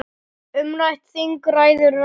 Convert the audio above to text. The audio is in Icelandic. Umrætt þing ræður nánast engu.